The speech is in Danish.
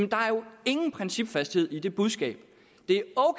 ingen principfasthed er i det budskab